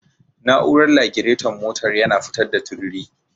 Na'urar lagiraton motar yana fitar da tururi.